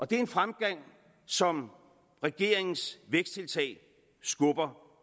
det er en fremgang som regeringens væksttiltag skubber